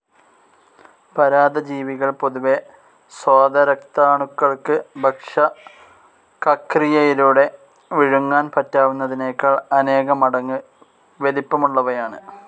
പരാദജീവികൾ പൊതുവേ സ്വേതരക്താണുക്കൾക്ക് ഭക്ഷകക്രിയയിലൂടെ വിഴുങ്ങാൻ പറ്റാവുന്നതിനെക്കാൾ അനേകമടങ്ങ് വലിപ്പമുള്ളവയാണ്.